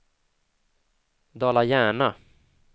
Dala-Järna